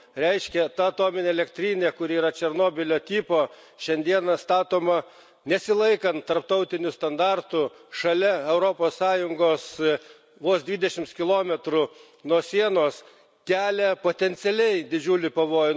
Reiškia ta atominė elektrinė, kuri yra Černobylio tipo, šiandieną statoma nesilaikant tarptautinių standartų šalia Europos Sąjungos, vos dvidešimt kilometrų nuo sienos, kelia potencialiai didžiulį pavojų.